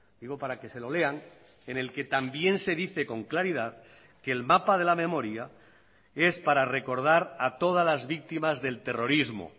digo para que se lo lean en el que también se dice con claridad que el mapa de la memoria es para recordar a todas las víctimas del terrorismo